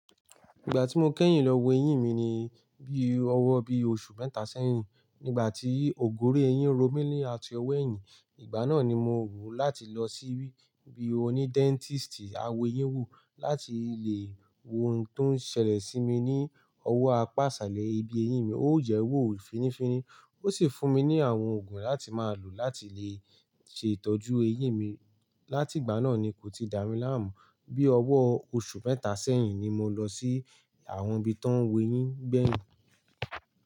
Ìgbà tí mo kẹ́yìn lọ wo eyín mi ni bí owó bí oṣù mẹ́ta sẹ́yìn. Nígbà tí ògórí eyín ro mí lé àti ọwọ́ eyín, ìgbà náà ni mo wù láti lọ sí ibi oní dentist awo eyín wò láti lè wo ohun tó ń ṣẹlẹ̀ sí mi ní owó apàsálẹ ibi eyín mi. Ó jẹ́ owó fínnífínní, ó sì fún mi ní àwọn òògùn láti máa lò láti lè ṣe ìtọ́jú eyín mi. Látìgbà náà ni kò ti dà mí láàmú. Bí ọwọ́ oṣù mẹ́ta sẹ́yìn ni mo lọ sí àwọn ibi tó ń wo eyín gbẹ̀yìn.